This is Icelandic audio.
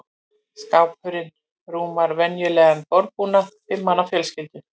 Skápurinn rúmar venjulegan borðbúnað fimm manna fjölskyldu.